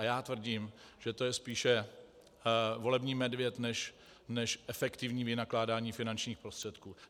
A já tvrdím, že to je spíše volební medvěd než efektivní vynakládání finančních prostředků.